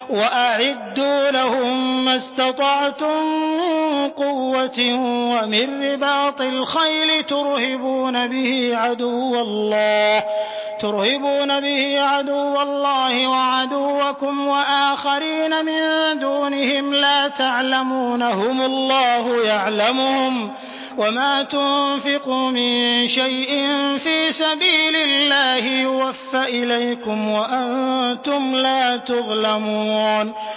وَأَعِدُّوا لَهُم مَّا اسْتَطَعْتُم مِّن قُوَّةٍ وَمِن رِّبَاطِ الْخَيْلِ تُرْهِبُونَ بِهِ عَدُوَّ اللَّهِ وَعَدُوَّكُمْ وَآخَرِينَ مِن دُونِهِمْ لَا تَعْلَمُونَهُمُ اللَّهُ يَعْلَمُهُمْ ۚ وَمَا تُنفِقُوا مِن شَيْءٍ فِي سَبِيلِ اللَّهِ يُوَفَّ إِلَيْكُمْ وَأَنتُمْ لَا تُظْلَمُونَ